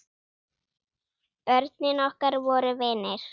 Börnin okkar voru vinir.